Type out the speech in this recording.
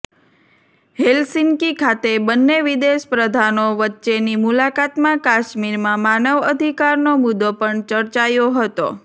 Helsinki ખાતે બંને વિદેશપ્રધાનો વચ્ચેની મુલાકાતમાં કાશ્મીરમાં માનવ અધિકારનો મુદ્દો પણ ચર્ચાયો હતો